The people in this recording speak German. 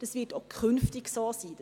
Das wird auch künftig so sein.